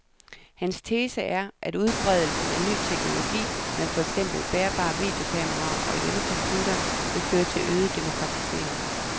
Hans tese er, at udbredelsen af ny teknologi med for eksempel bærbare videokameraer og hjemmecomputere vil føre til øget demokratisering.